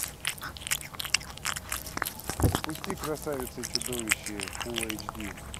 запусти красавица и чудовище фулл эйч ди